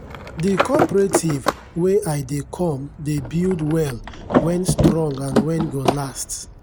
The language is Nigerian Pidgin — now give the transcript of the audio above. the cooperative wen i dey come dey build well wen strong and wen go last.